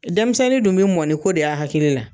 Dɛnmisɛnnin dun be mɔ ni ko de y'a hakili la.